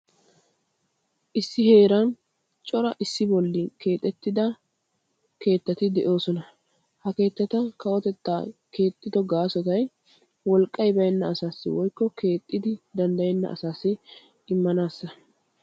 Issi heeran cora issi bolla keexettidda keettatti de'ossonna. Ha keettatti keexettiddo gaasoy cora wolqqay baynna asawu immanassa.